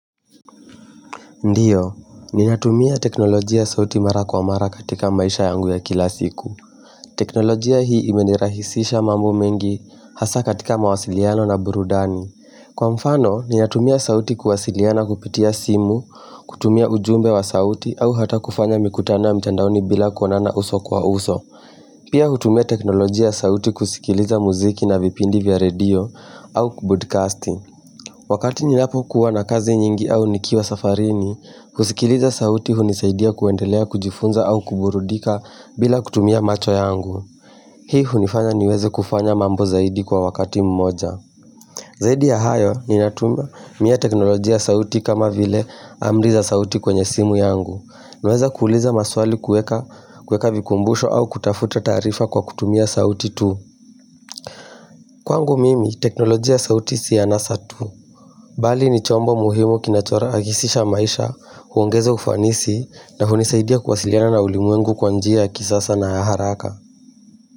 Ndio, ninatumia teknolojia sauti mara kwa mara katika maisha yangu ya kila siku. Teknolojia hii imenirahisisha mambo mengi hasa katika mawasiliano na burudani. Kwa mfano, ninatumia sauti kuwasiliana kupitia simu, kutumia ujumbe wa sauti, au hata kufanya mikutano ya mtandaoni bila kuonana uso kwa uso. Pia hutumia teknolojia sauti kusikiliza muziki na vipindi vya radio, au kubudcasti. Wakati ninapo kuwa na kazi nyingi au nikiwa safarini, kusikiliza sauti hunisaidia kuendelea kujifunza au kuburudika bila kutumia macho yangu. Hii hunifanya niweze kufanya mambo zaidi kwa wakati mmoja. Zaidi ya hayo ni natumia teknolojia sauti kama vile amri za sauti kwenye simu yangu. Naweza kuuliza maswali kueka vikumbusho au kutafuta taarifa kwa kutumia sauti tu. Kwangu mimi, teknolojia ya sauti si ya anasa tu. Bali ni chombo muhimu kinacho rahisi aha maisha, huongeza ufanisi na hunisaidia kuwasiliana na ulimwengu kwa njia ya kisasa na haraka.